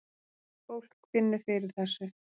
Fólk finnur fyrir þessu